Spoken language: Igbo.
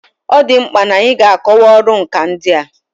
Ọ dị mkpa n'anyị ga-akọwa ọrụ nkà ndị a.